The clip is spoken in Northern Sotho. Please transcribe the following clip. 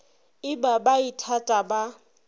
e ba ba ithata ba